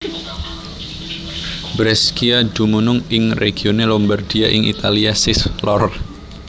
Brescia dumunung ing regione Lombardia ing Italia sish lor